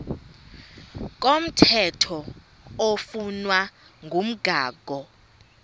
komthetho oflunwa ngumgago